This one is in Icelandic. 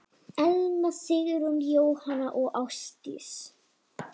Elna Sigrún, Jóhanna og Ásdís.